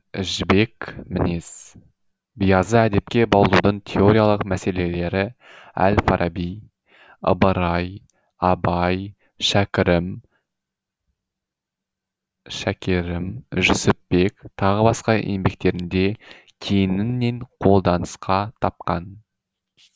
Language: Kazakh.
жібек мінез биязы әдепке баулудың теориялық мәселелері әл фараби ыбырай абай шәкерім жүсіпбек тағы да басқа еңбектерінде кеңінен қолданысқа тапқан